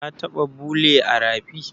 Ka taɓa bule a rafi?